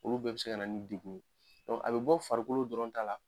Olu bɛɛ bɛ se ka na ni degun a bɛ bɔ farikolo dɔrɔn ta la,